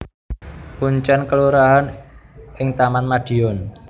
Kuncèn kelurahan ing Taman Madiun